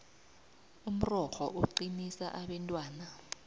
umrorho uqinisa abentwana